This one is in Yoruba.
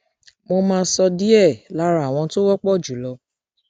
mo máa sọ díẹ lára àwọn tó wọpọ jù lọ